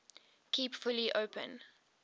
kept fully open